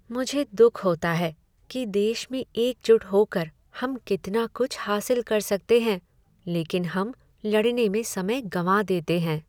मुझे दुख होता है कि देश में एकजुट होकर हम कितना कुछ हासिल कर सकते हैं लेकिन हम लड़ने में समय गँवा देते हैं।